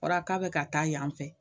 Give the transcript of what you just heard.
Kɔrɔ k'a be ka taa yan fɛ